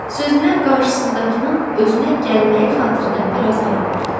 Sözünə qarşısındakının özünə gəlməyi xatirinə bir az ara verdi.